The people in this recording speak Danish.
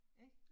Ik